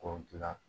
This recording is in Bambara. K'o dilan